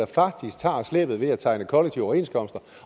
faktisk tager slæbet ved at tegne kollektive overenskomster